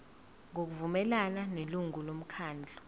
ngokuvumelana nelungu lomkhandlu